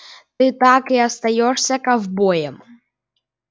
ты так и остаёшься ковбоем